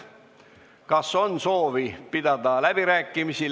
Kas on soovi pidada läbirääkimisi?